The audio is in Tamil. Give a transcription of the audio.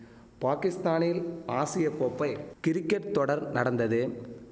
பாகிஸ்தானில் ஆசிய கோப்பை கிரிக்கெட் தொடர் நடந்தது